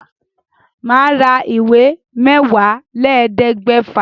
Màá ra ìwé Mẹ́wàálélẹ́ẹ̀ẹ́dẹ́gbẹ́fà.